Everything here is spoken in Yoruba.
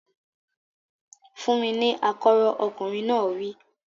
Fún mi ní akọ́rọ́! Ọkùnrin náà wí.